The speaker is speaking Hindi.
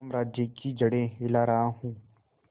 साम्राज्य की जड़ें हिला रहा हूं